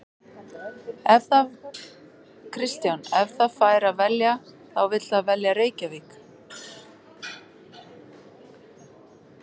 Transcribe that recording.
Kristján: Ef það fær að velja þá vill það velja Reykjavík?